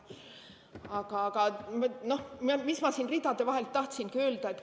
Aga, no mis ma siin ridade vahelt tahtsingi öelda.